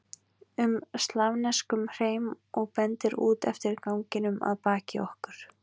um slavneskum hreim og bendir út eftir ganginum að baki okkur.